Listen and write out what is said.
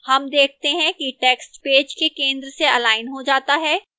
हम देखते हैं कि text पेज के केंद्र से अलाइन हो जाता है